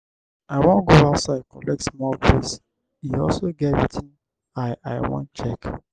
i wan go outside collect small breeze e also get wetin i i wan check